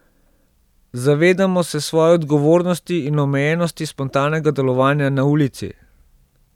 Zavedamo se svoje odgovornosti in omejenosti spontanega delovanja na ulici.